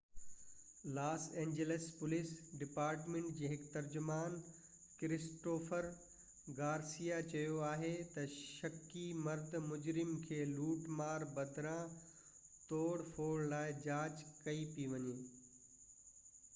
Los Angeles police department جي هڪ ترجمان ڪرسٽوفر گارسيا چيو آهي ته شڪي مرد مجرم کي لوٽ مار بدران توڙ ڦوڙ لاءِ جاچ ڪئي پئي وڃي